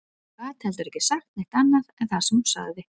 Hún gat heldur ekki sagt neitt annað en það sem hún sagði